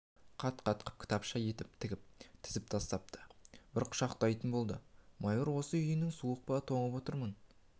қат-қатқып кітапша етіп тігіп тізіп тастапты бір құшақтай болды майыр осы үйің суық па тоңып отырмын